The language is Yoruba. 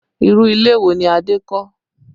Irú ilé wo ni Adé kọ́?